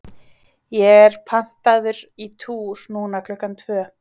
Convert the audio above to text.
ég er pantaður í túr núna klukkan tvö.